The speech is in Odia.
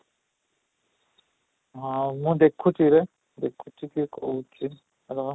ହଁ, ମୁଁ ଦେଖୁଛି ରେ ଦେଖୁଛି କି କୋଉଟା ହେବ